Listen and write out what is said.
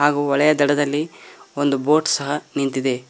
ಹಾಗು ಹೊಳೆಯ ದಡದಲ್ಲಿ ಒಂದು ಬೋಟ್ ಸಹ ನಿಂತಿದೆ.